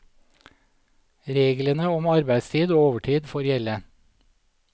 Reglene om arbeidstid og overtid får gjelde.